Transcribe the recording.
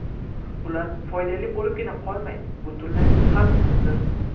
Ular foydali bo‘libgina qolmay, butunlay xavfsizdir.